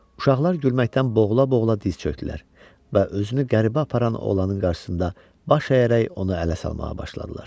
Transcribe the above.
Uşaqlar gülməkdən boğula-boğula diz çökdülər və özünü qəribə aparan oğlanın qarşısında baş əyərək onu ələ salmağa başladılar.